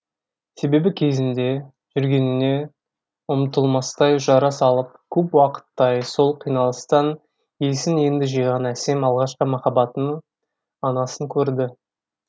себебі кезінде жүргеніне ұмытылмастай жара салып көп уақыттай сол қиналыстан есін енді жиған әсем алғашқы махаббатының анасын көрді